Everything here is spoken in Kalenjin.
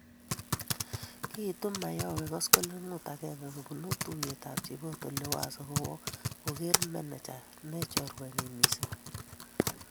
kiitu Mayowe koskoleng'ut agenge kobunu tuyetab chiboto Liwazo kowo kogeerei meneja ne chorwenyin mising